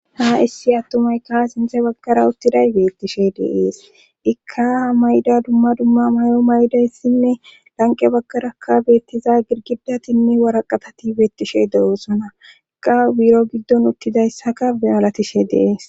ha issi attumayka sinthe baggara uttiday beettishe deees ikka mayda dumma dumma may7o maydayssinne lanqe baggarakka beettiza girgidatinne waraqatati beettishe de7oosona iqa biro giddon uttidayssaka malatishe deees